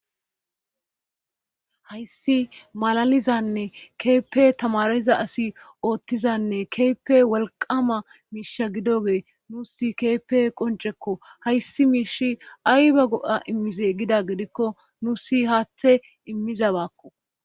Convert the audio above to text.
Hayssi malalizanne keeppe tamariza asi ooththizanne keepe wolqama miisha gidogee nuusi keepe qoncekko hayssi miish ayba go7a immize gida gedikko nuusi haathe immiza baakko